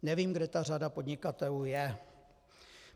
Nevím, kde ta řada podnikatelů je.